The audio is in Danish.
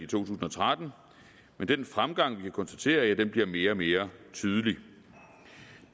tusind og tretten men den fremgang vi kan konstatere bliver mere og mere tydelig de